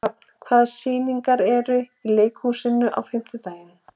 Hrafn, hvaða sýningar eru í leikhúsinu á fimmtudaginn?